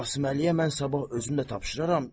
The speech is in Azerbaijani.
Qasıməliyə mən sabah özüm də tapşıraram.